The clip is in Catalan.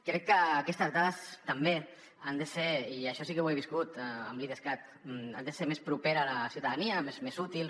crec que aquestes dades també han de ser i això sí que ho he viscut amb l’idescat més properes a la ciutadania més útils